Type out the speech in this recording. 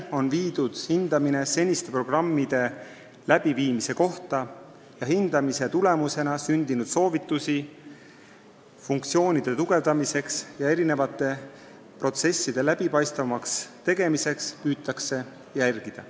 Tehtud on seniste programmide läbiviimise hindamine ning selle tulemusena sündinud soovitusi funktsioonide tugevdamiseks ja eri protsesside läbipaistvamaks tegemiseks püütakse järgida.